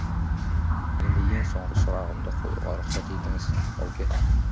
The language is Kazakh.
енді ең соңғы сұрағымды қоюға рұқсат етіңіз бауке